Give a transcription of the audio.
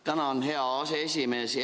Tänan, hea aseesimees!